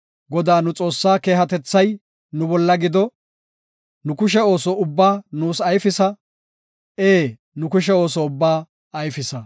Godaa nu Xoossaa keehatethay nu bolla gido; nu kushe ooso ubba nuus ayfisa; Ee, nu kushe ooso ubbaa ayfisa.